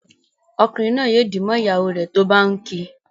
Ọkunrin naa yóò dì mọ ìyàwó rẹ tó bá ǹ kí.